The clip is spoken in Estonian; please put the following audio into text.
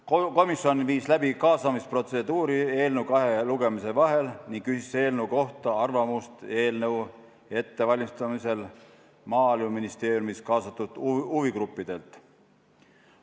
Komisjon tegi kahe lugemise vahel kaasamisprotseduuri ning küsis eelnõu kohta arvamust Maaeluministeeriumis kaasatud huvigruppidelt.